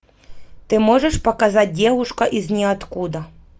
ты можешь показать девушка из ниоткуда